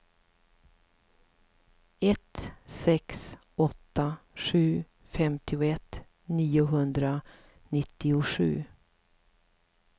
ett sex åtta sju femtioett niohundranittiosju